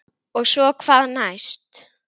Og svo hvað næst?